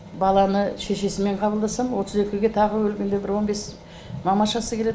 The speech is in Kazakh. баланы шешесімен қабылдасам отыз екіге тағы бір келгенде он бес мамашасы келеді